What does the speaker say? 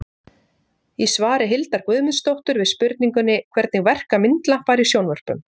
í svari hildar guðmundsdóttur við spurningunni hvernig verka myndlampar í sjónvörpum